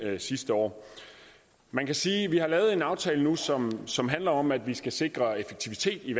sidste år man kan sige at vi nu har lavet en aftale som som handler om at vi skal sikre effektivitet i